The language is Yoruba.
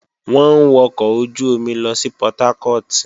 Wọ́n ń wọkọ̀ ojú-omi lọ sí Portharcourt